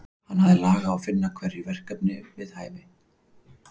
Hann hafði lag á að finna hverjum verkefni við hæfi.